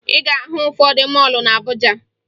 Ị ga-ahụ ụfọdụ mọọlụ na Abuja